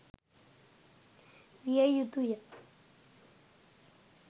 විය යුතුය.